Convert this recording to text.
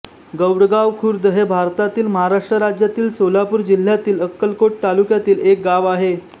गौडगाव खुर्द हे भारतातील महाराष्ट्र राज्यातील सोलापूर जिल्ह्यातील अक्कलकोट तालुक्यातील एक गाव आहे